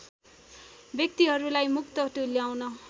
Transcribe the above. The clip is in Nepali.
व्यक्तिहरूलाई मुक्त तुल्याउन्